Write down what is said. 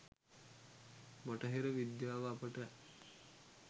බටහිර විද්‍යාව අපට